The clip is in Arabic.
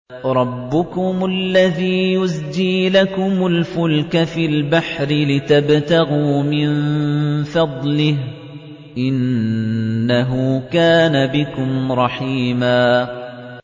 رَّبُّكُمُ الَّذِي يُزْجِي لَكُمُ الْفُلْكَ فِي الْبَحْرِ لِتَبْتَغُوا مِن فَضْلِهِ ۚ إِنَّهُ كَانَ بِكُمْ رَحِيمًا